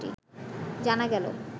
জানা গেলো